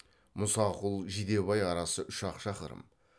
мұсақұл жидебай арасы үш ақ шақырым